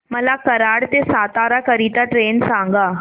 मला कराड ते सातारा करीता ट्रेन सांगा